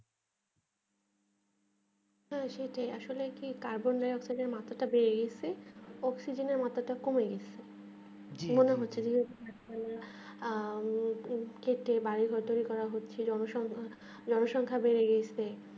সেটাই সেটাই আসলে কি আর কি তাদের লেগে আপনাদের যে মাথা টা বেড়া গেছে অক্সিজেনের অতটা কমে গেছে জি খেতে বাড়ির বদল করে হচ্ছে জনসংখ্যা বেড়ে গেছে